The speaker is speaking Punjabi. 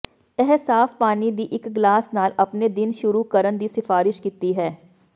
ਇਹ ਸਾਫ਼ ਪਾਣੀ ਦੀ ਇੱਕ ਗਲਾਸ ਨਾਲ ਆਪਣੇ ਦਿਨ ਸ਼ੁਰੂ ਕਰਨ ਦੀ ਸਿਫਾਰਸ਼ ਕੀਤੀ ਹੈ